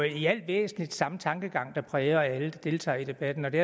i al væsentlighed samme tankegang der præger alle der deltager i debatten og det